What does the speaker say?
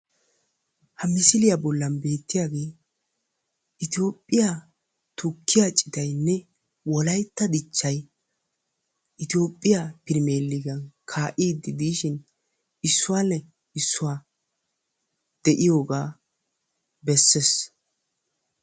Ha misiliya bollan beettiyagee toophiya tukkiya citaynne wolaytta dichchayi toophiya pirimeeligiya kaa'iiddi diishin issuwa le issuwa de'iyogaa besses.